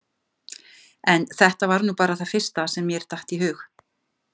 En þetta var nú bara það fyrsta sem mér datt í hug